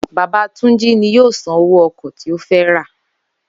Bàbá Túnjí ni yóò san owó ò̩kò̩ tí ó fé̩ ra